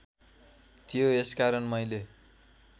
थियो यसकारण मैले